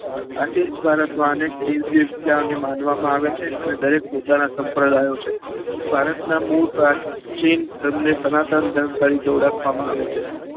આથી જ ભારતમાં અનેક દિવસે વીજા અને માનવિયો ને માનવામાં આવે છે અને દરેક પોતાના સમ્પ્રદાયો છે ભારતના મૂળ પ્રાચીન ધર્મને સ્નાતાન ધર્મ તરીકે ઓળખવામાં આવે છે